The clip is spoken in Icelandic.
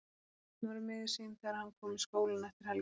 Örn var miður sín þegar hann kom í skólann eftir helgina.